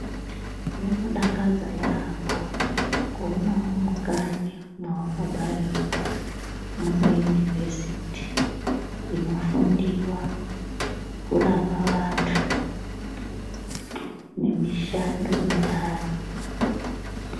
Rinodakadza yambo kuonawo mukanyi mwawakabarirwa mune univhesiti inofundiwa kurapa vanthu, nemishando inthani.